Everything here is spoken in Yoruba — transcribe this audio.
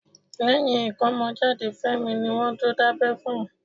Lẹ́yìn ìkómọjáde Fẹ́mi ni wọ́n tó dábẹ́ fún un.